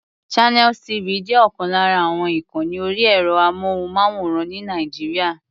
Channels TV jẹ́ ọ̀kan lára àwọn ìkànni orí ẹ̀rọ-amóhùnmáwòrán ní Nàìjíríà.